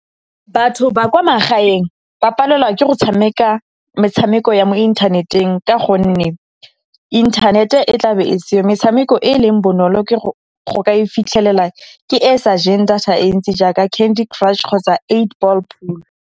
Batho ba kwa magaeng ba palelwa ke go tshameka metshameko ya mo inthaneteng ka gonne inthanete e tla be e seyo. Metshameko e e leng bonolo go ka e fitlhelela, ke e sa jeng data e ntsi jaaka Candy Crush kgotsa eight Ball Pool.